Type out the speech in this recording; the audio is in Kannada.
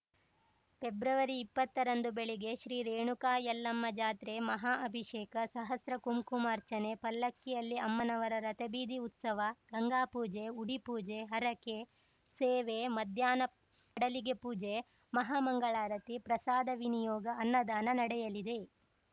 ಫೆಬ್ರವರಿಇಪ್ಪತ್ತರಂದು ಬೆಳಿಗ್ಗೆ ಶ್ರೀ ರೇಣುಕಾ ಯಲ್ಲಮ್ಮ ಜಾತ್ರೆ ಮಹಾ ಅಭಿಷೇಕ ಸಹಸ್ರ ಕುಂಕುಮಾರ್ಚನೆ ಪಲ್ಲಕ್ಕಿಯಲ್ಲಿ ಅಮ್ಮನವರ ರಥಬೀದಿ ಉತ್ಸವ ಗಂಗಾಪೂಜೆ ಉಡಿಪೂಜೆ ಹರಕೆ ಸೇವೆ ಮಧ್ಯಾಹ್ನ ಪಡಲಿಗೆ ಪೂಜೆ ಮಹಾಮಂಗಳಾರತಿ ಪ್ರಸಾದ ವಿನಿಯೋಗ ಅನ್ನದಾನ ನಡೆಯಲಿದೆ